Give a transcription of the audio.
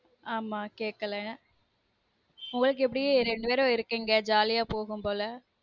ஆமா கேக்கல உங்களுக்கு எப்டி ரெண்டு பேர் இருக்கீங்க jolly அ போகும்போல